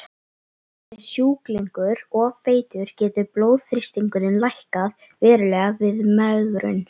Sé sjúklingur of feitur getur blóðþrýstingurinn lækkað verulega við megrun.